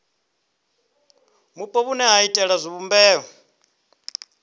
vhupo vhune ha iitela tshivhumbeo